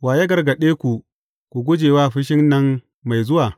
Wa ya gargaɗe ku, ku guje wa fushin nan mai zuwa?